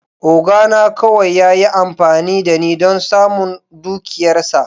Oga na kawai ya yi amfani da ni don samun dukiyarsa.